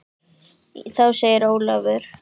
Þá segir Ólafur